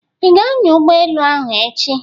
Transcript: Ị ga-ányà ụgbọ elụ ahụ echi?